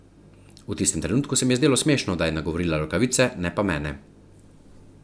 V tistem trenutku se mi je zdelo smešno, da je nagovorila rokavice, ne pa mene.